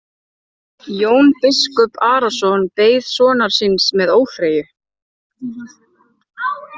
Jón biskup Arason beið sonar síns með óþreyju.